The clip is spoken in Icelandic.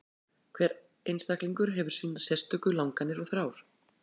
Hver einstaklingur hefur sínar sérstöku langanir og þrár.